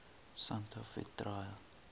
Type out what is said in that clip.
santa fe trail